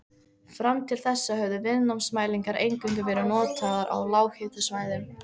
Fram til þessa höfðu viðnámsmælingar eingöngu verið notaðar á lághitasvæðum.